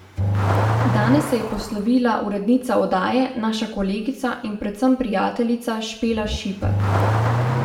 Danes se je poslovila urednica oddaje, naša kolegica in predvsem prijateljica Špela Šipek.